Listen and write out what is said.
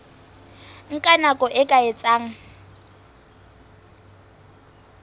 nka nako e ka etsang